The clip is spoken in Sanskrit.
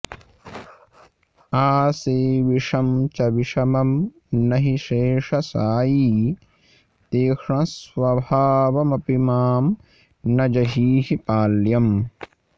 आशीविषं च विषमं न हि शेषशायी तीक्ष्णस्वभावमपि मां न जहीहि पाल्यम्